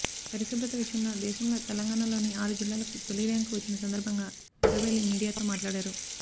పరిశుభ్రత విషయంలో దేశంలో తెలంగాణలోని ఆరు జిల్లాలకు తొలి ర్యాంకు వచ్చిన సందర్భంగా ఎర్రబెల్లి మీడియాతో మాట్లాడారు